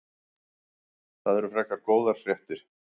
Það eru frekar góðar fréttir.